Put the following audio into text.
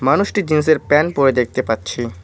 মানুষটি জিন্সের প্যান্ট পড়ে দেখতে পাচ্ছি।